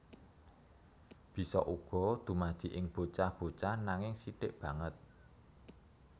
Bisa uga dumadi ing bocah bocah nanging sithik banget